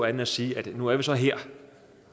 end at sige at nu er vi så her